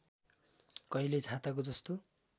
कहिले छाताको जस्तो